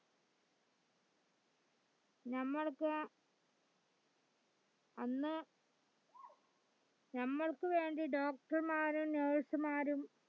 ഞമ്മൾക്ക് അന്ന് നമ്മൾക് വേണ്ടി doctor മാരും nurse മാരും